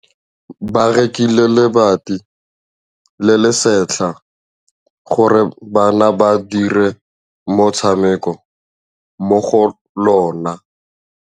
Ba rekile lebati le le setlha gore bana ba dire motshameko mo go lona.